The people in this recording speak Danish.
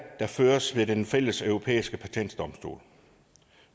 der føres ved den fælles europæiske patentdomstol